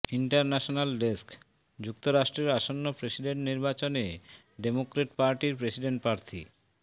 international desk যুক্তরাষ্ট্রের আসন্ন president নির্বাচনে ডেমোক্র্যাট পার্টির প্রেসিডেন্ট প্রার্থী